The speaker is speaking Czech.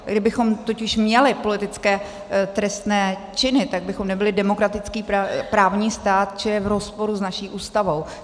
Kdybychom totiž měli politické trestné činy, tak bychom nebyli demokratický právní stát, čili je v rozporu s naší Ústavou.